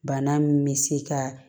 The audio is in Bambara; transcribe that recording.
Bana min bɛ se ka